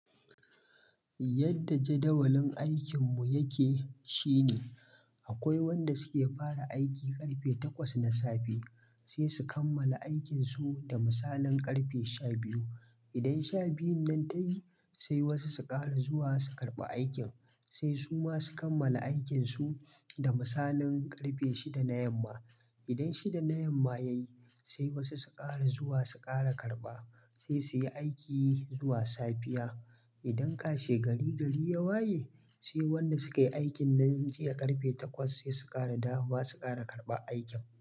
Yadda jadawalin aikin mu yake shine, akwai wanda suke fara aiki karfe takwas na safe, sai su kammala aikin su da misalin karfe sha biyu. Idan sha biyun nan ta yi, sai wasu su ƙara zuwa su karɓa aikin, sai su ma su kammala aikin su, da misalin karfe shida na yamma. Idan shida na yamma yayi, sai wasu su ƙara zuwa su ƙara karɓa, sai su yi aiki zuwa safiya. Idan kashe gari gari yawa yayi sai wanda sukayi aikin nan jiya karfe takwas sai su ƙara dawowa su ƙara karɓa aikin mu.